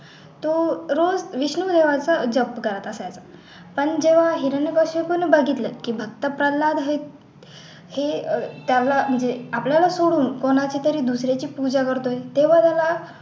तो रोज विष्णू देवाचा जप करत असायचा पण जेव्हा हिरण्यकशिपू याने बघितलं की भक्त प्रल्हाद हे अह त्याला म्हणजे आपल्याला सोडून कोणाची तरी दुसऱ्याची पूजा करतोय तेव्हा त्याला